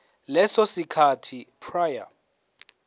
leso sikhathi prior